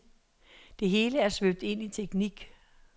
Det hele er svøbt ind i teknik.